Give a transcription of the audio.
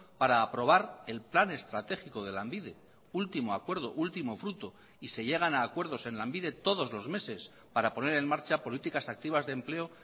para aprobar el plan estratégico de lanbide último acuerdo último fruto y se llegan a acuerdos en lanbide todos los meses para poner en marcha políticas activas de empleo